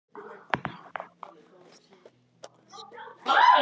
AÐ NÁ KÓPNUM AF SKAPTA SKÚLASYNI.